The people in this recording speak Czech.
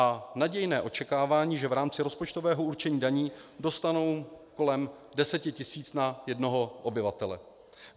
A nadějné očekávání, že v rámci rozpočtového určení daní dostanou kolem deseti tisíc na jednoho obyvatele.